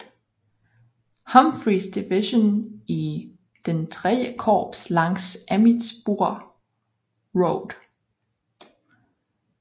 Humphreyss division i III Korps langs Emmitsburg Road